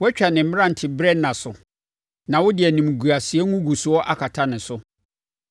Woatwa ne mmeranteberɛ nna so na wode animguaseɛ ngugusoɔ akata ne so.